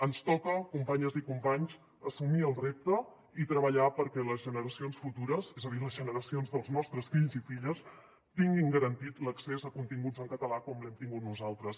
ens toca companyes i companys assumir el repte i treballar perquè les generacions futures és a dir les generacions dels nostres fills i filles tinguin garantit l’accés a continguts en català com l’hem tingut nosaltres